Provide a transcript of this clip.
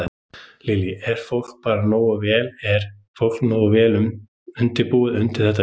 Lillý: Er fólk bara nógu vel, er fólk nógu vel undirbúið undir þetta veður?